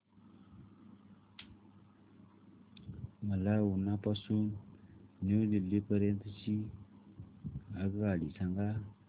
मला उना पासून न्यू दिल्ली पर्यंत ची आगगाडी सांगा